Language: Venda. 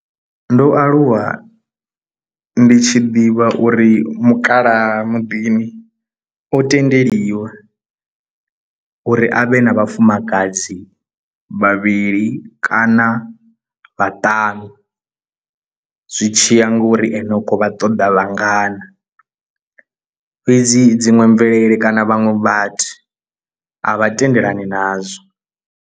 Ndo aluwa ndi tshi ḓivha uri mukalaha muḓini o tendeliwa uri avhe na vhafumakadzi vhavhili kana na vhaṱanu zwi tshi ya ngori ane u khou vha ṱoḓa vhangana, fhedzi dziṅwe mvelele kana vhaṅwe vhathu a vha tendelani nazwo.